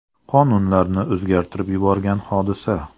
Qonunlarni o‘zgartirib yuborgan hodisa.